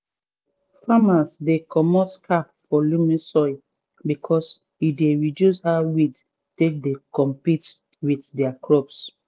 farmers dey comot cap for loamy soil because e dey reduce how weed take dey compete with dia crops